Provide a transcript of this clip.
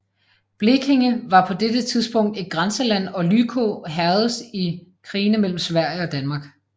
Blekinge var på dette tidspunkt et grænseland og Lykå hærgedes i krigene mellem Sverige og Danmark